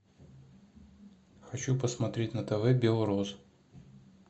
хочу посмотреть на тв белрос